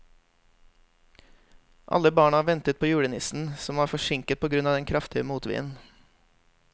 Alle barna ventet på julenissen, som var forsinket på grunn av den kraftige motvinden.